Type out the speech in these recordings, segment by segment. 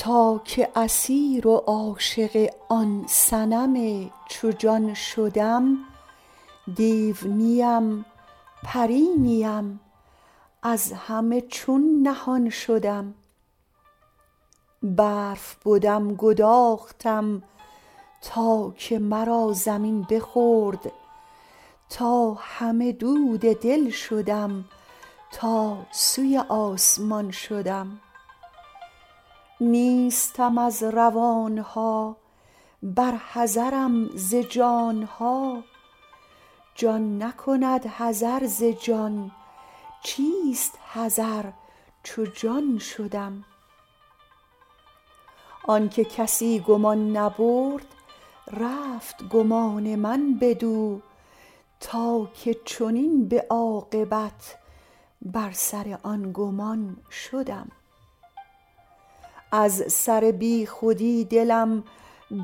تا که اسیر و عاشق آن صنم چو جان شدم دیو نیم پری نیم از همه چون نهان شدم برف بدم گداختم تا که مرا زمین بخورد تا همه دود دل شدم تا سوی آسمان شدم نیستم از روان ها بر حذرم ز جان ها جان نکند حذر ز جان چیست حذر چو جان شدم آنک کسی گمان نبرد رفت گمان من بدو تا که چنین به عاقبت بر سر آن گمان شدم از سر بیخودی دلم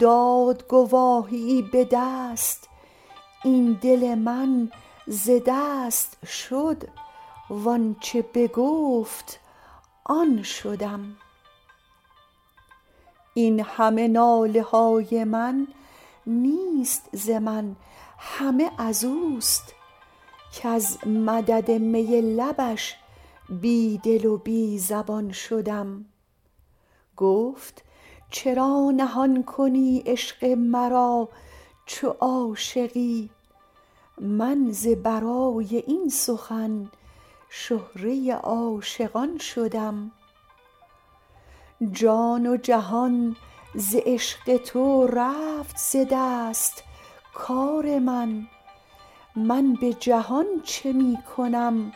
داد گواهیی به دست این دل من ز دست شد و آنچ بگفت آن شدم این همه ناله های من نیست ز من همه از اوست کز مدد می لبش بی دل و بی زبان شدم گفت چرا نهان کنی عشق مرا چو عاشقی من ز برای این سخن شهره عاشقان شدم جان و جهان ز عشق تو رفت ز دست کار من من به جهان چه می کنم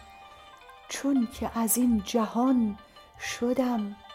چونک از این جهان شدم